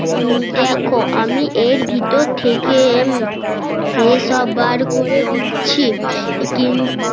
দেখো আমি এর ভেতর থেকে সে সব বার করে দিচ্ছি কিন